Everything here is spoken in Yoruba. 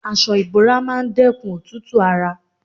Aṣọ ìbora máa dẹ́kun òtútù ara.